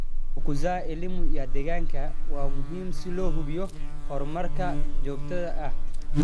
Kukuza elimu ya deegaanka waa muhiim si loo hubiyo horumarka joogtada ah.